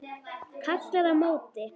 Kallar á móti.